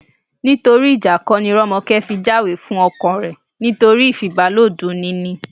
Nítorí ìjà kọ́ ni Rọ́mọkẹ́ fi jáwèé fún ọkọ rẹ̀, nítorí ìfibàlòọ̀ dunni ni